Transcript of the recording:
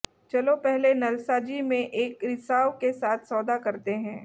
चलो पहले नलसाजी में एक रिसाव के साथ सौदा करते हैं